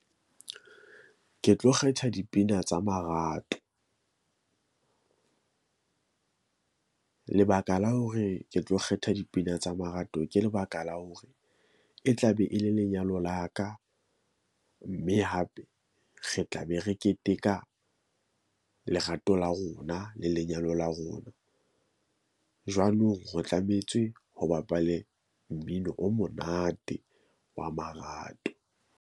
Ke tlo kgetha dipina tsa marato . Lebaka la hore ke tlo kgetha dipina tsa marato, ke lebaka la hore e tla be e le lenyalo la ka mme hape re tla be re keteka lerato la rona le lenyalo la rona. Jwanong re tlametse ho bapalwe mmino o monate wa marato.